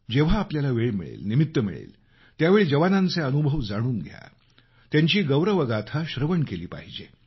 जेव्हा आपल्याला वेळ मिळेल निमित्त मिळेल त्यावेळी जवानांचे अनुभव जाणून घेतले पाहिजे त्यांची गौरवगाथा श्रवण केली पाहिजे